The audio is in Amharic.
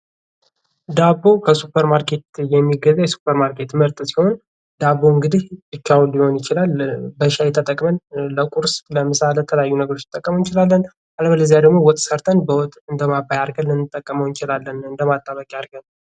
ዳቦ ከሱፐር ማርኬት የሚገዛ የሱፐር ማርኬት ምርት ሲሆን ዳቦ እንግዲህ ብቻውን ሊሆን ይችላል በሻይ ተጠቅመን ለቁርስ ለምሳ ለተለያዩ ነገሮች ልንጠቀመው እንችላለን አለበለዚያ ደግሞ ወጥ ሰርተን በወጥ እንደማባያ አድርገን ልንጠቀመው እንችላለን እንደ ማጣበቂያ አድርገን።